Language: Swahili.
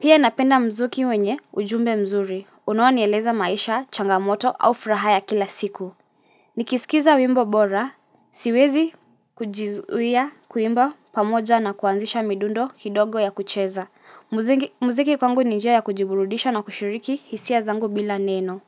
Pia napenda mzuki wenye ujumbe mzuri unao nieleza maisha changamoto au furaha ya kila siku Nikisikiza wimbo bora, siwezi kujizuia kuimba pamoja na kuanzisha midundo kidogo ya kucheza. Muziki kwangu ni njia ya kujiburudisha na kushiriki hisia zangu bila neno.